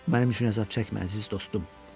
Mənim üçün əzab çəkmə, əziz dostum.